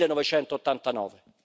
1989.